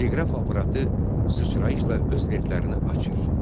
Teleqraf aparatı sıçrayışla öz lentlərini açır.